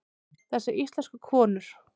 Þessar íslensku konur!